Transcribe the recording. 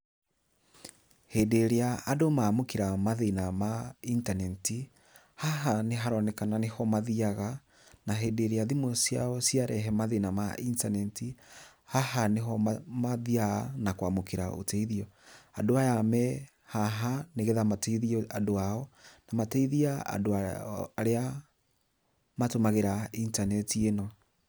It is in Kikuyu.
Hĩndĩ ĩrĩa andũ mamũkĩra mathĩna ma intaneti, haha nĩ haronekana nĩho mathiaga nĩ hĩndĩ ĩrĩa thimũ ciao ciarehe mathĩna ma intaneti haha nĩho mathiaga na kwamũkĩra ũteithio, andũ aya me haha nĩgetha mateithie andũ ao na mateithie andũ arĩa matũmagĩra intaneti ĩno.